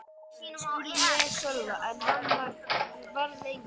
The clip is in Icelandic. spurði ég Sölva en hann svaraði engu.